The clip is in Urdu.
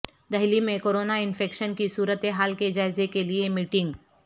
دہلی میں کورونا انفیکشن کی صورت حال کے جائزے کے لئے میٹنگ